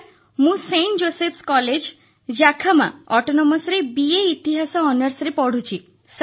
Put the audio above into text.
sir ମୁଁ Saint Joseph's college Jakhama ଅଟୋନମସରେ BA ଇତିହାସ ଅନର୍ସରେ ପଢ଼ୁଛି